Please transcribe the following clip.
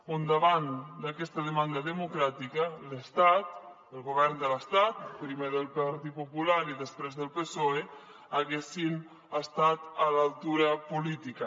on davant d’aquesta demanda democràtica l’estat el govern de l’estat primer del partit popular i després del psoe haguessin estat a l’altura política